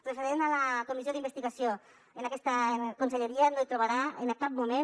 referent a la comissió d’investigació aquesta conselleria no trobarà en cap moment